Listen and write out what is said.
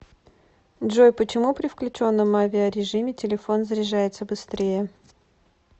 джой почему при включенном авиарежиме телефон заряжается быстрее